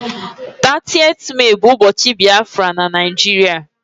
30th Mee bu ubochi Biafra na Naijiria